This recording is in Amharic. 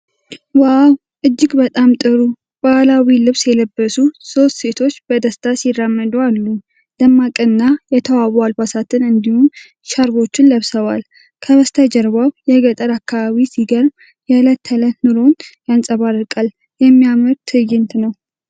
ዋው፣ እጅግ በጣም ጥሩ! ባህላዊ ልብስ የለበሱ ሶስት ሴቶች በደስታ ሲራመዱ አሉ። ደማቅና የተዋቡ አልባሳትን እንዲሁም ሻርፖችን ለብሰዋል፤ ከበስተጀርባው የገጠር አከባቢ ሲገርም የዕለት ተዕለት ኑሮን ያንጸባርቃል። የሚያምር ትዕይንት ነው።